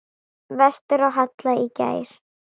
Vestur á Hala í gær.